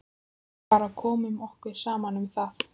Við bara komum okkur saman um það.